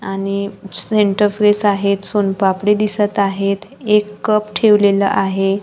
आणि centre fresh आहेत सोनपापडी दिसत आहेत एक कप ठेवलेला आहे.